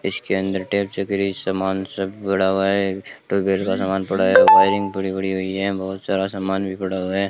इसके अंदर टेप चकरी समान सब पड़ा हुआ है ट्यूबवेल का सामान पड़ा है वायरिंग पड़ी पड़ी हुई है बहोत सारा समान भी पड़ा हुआ है।